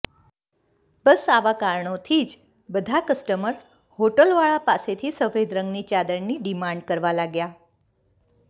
બસ આવા કારણોથી જ બધા કસ્ટમર હોટલવાળા પાસેથી સફેદ રંગની ચાદરની ડીમાંડ કરવા લાગ્યા